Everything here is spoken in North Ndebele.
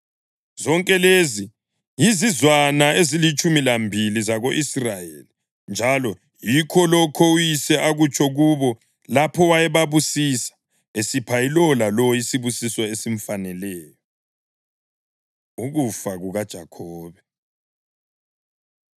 Zonke lezi yizizwana ezilitshumi lambili zako-Israyeli, njalo yikho lokho uyise akutsho kubo lapho wayebabusisa, esipha ilowo lalowo isibusiso esimfaneleyo. Ukufa KukaJakhobe